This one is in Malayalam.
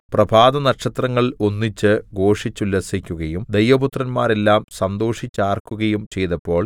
പ്രഭാതനക്ഷത്രങ്ങൾ ഒന്നിച്ച് ഘോഷിച്ചുല്ലസിക്കുകയും ദൈവപുത്രന്മാരെല്ലാം സന്തോഷിച്ചാർക്കുകയും ചെയ്തപ്പോൾ